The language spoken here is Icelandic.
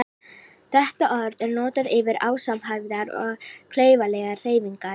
Þetta orð er notað yfir ósamhæfðar og klaufalegar hreyfingar.